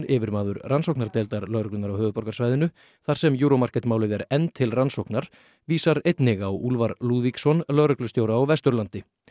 yfirmaður rannsóknardeildar lögreglunnar á höfuðborgarsvæðinu þar sem Euro Market málið er enn til rannsóknar vísar einnig á Úlfar Lúðvíksson lögreglustjóra á Vesturlandi